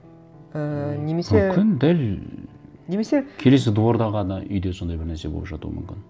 ііі немесе мүмкін дәл немесе келесі дворда ғана үйде сондай бір нәрсе болып жатуы мүмкін